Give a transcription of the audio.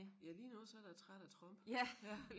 Ja lige nu så jeg da træt af Trump ja